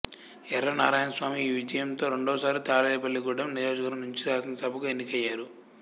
యర్రా నారాయణస్వామి ఈ విజయంతో రెండవసారి తాడేపల్లిగూడెం నియోజకవర్గం నుంచి శాసనసభకు ఎన్నికయ్యారు